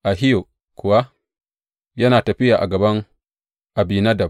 Ahiyo kuwa yana tafiya a gaban Abinadab.